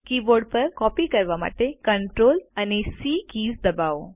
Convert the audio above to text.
keyboard પર copy કરવા માટે Ctrl સી કીઝ દબાવો